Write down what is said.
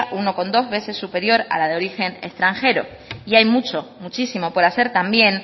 uno coma dos veces superior a la de origen extranjero y hay mucho muchísimo por hacer también